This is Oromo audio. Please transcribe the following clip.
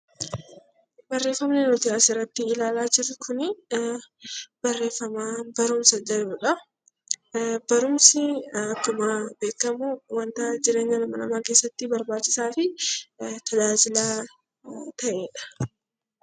Barumsi akkuma beekamu wantoota jireenya dhala namaa keessatti barbaachisaa fi tajaajila baay'eef kan ooludha.